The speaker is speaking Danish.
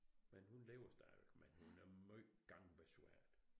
Men hun lever stadig men hun er meget gangbesværet